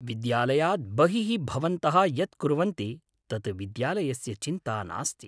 विद्यालयात् बहिः भवन्तः यत् कुर्वन्ति तत् विद्यालयस्य चिन्ता नास्ति।